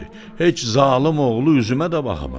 Heç zalım oğlu üzümə də baxmadı.